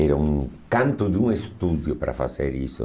Era um canto de um estúdio para fazer isso.